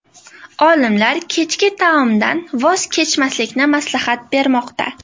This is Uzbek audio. Olimlar kechki taomdan voz kechmaslikni maslahat bermoqda.